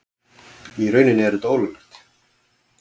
Í rauninni er þetta ólöglegt.